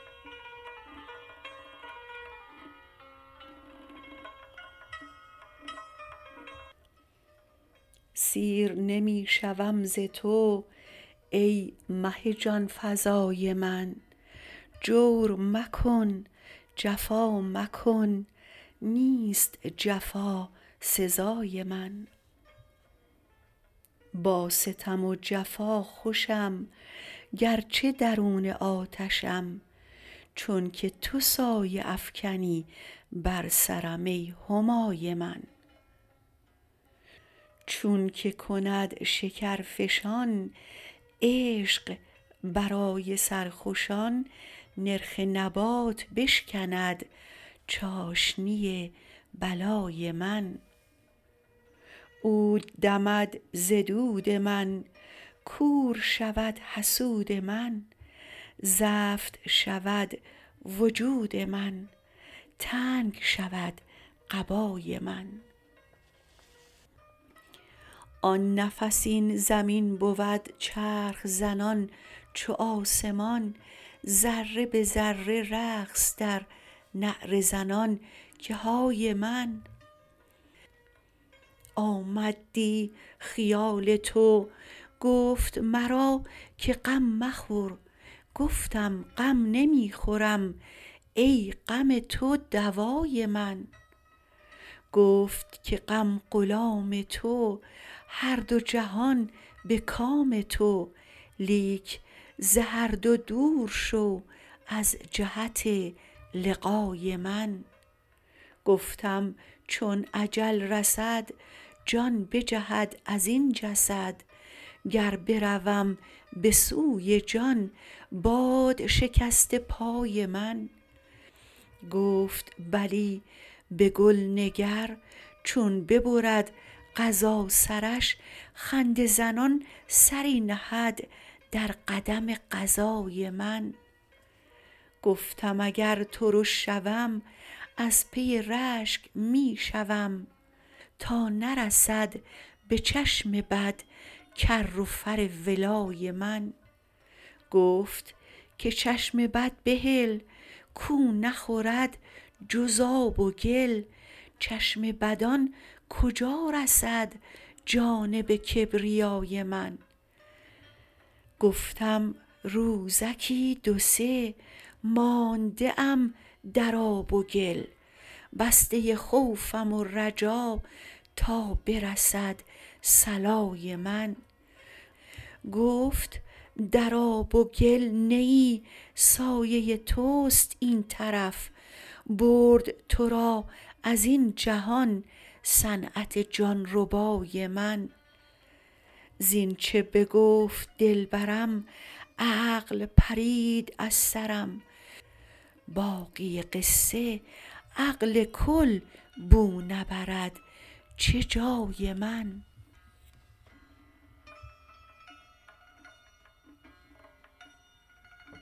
سیر نمی شوم ز تو ای مه جان فزای من جور مکن جفا مکن نیست جفا سزای من با ستم و جفا خوشم گرچه درون آتشم چونک تو سایه افکنی بر سرم ای همای من چونک کند شکرفشان عشق برای سرخوشان نرخ نبات بشکند چاشنی بلای من عود دمد ز دود من کور شود حسود من زفت شود وجود من تنگ شود قبای من آن نفس این زمین بود چرخ زنان چو آسمان ذره به ذره رقص در نعره زنان که های من آمد دی خیال تو گفت مرا که غم مخور گفتم غم نمی خورم ای غم تو دوای من گفت که غم غلام تو هر دو جهان به کام تو لیک ز هر دو دور شو از جهت لقای من گفتم چون اجل رسد جان بجهد از این جسد گر بروم به سوی جان باد شکسته پای من گفت بلی به گل نگر چون ببرد قضا سرش خنده زنان سری نهد در قدم قضای من گفتم اگر ترش شوم از پی رشک می شوم تا نرسد به چشم بد کر و فر ولای من گفت که چشم بد بهل کو نخورد جز آب و گل چشم بدان کجا رسد جانب کبریای من گفتم روزکی دو سه مانده ام در آب و گل بسته خوفم و رجا تا برسد صلای من گفت در آب و گل نه ای سایه توست این طرف برد تو را از این جهان صنعت جان ربای من زینچ بگفت دلبرم عقل پرید از سرم باقی قصه عقل کل بو نبرد چه جای من